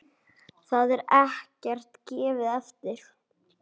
Þar er ekkert gefið eftir.